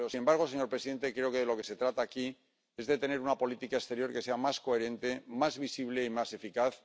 Pero, sin embargo, señor presidente, creo que de lo que se trata aquí es de tener una política exterior que sea más coherente, más visible y más eficaz.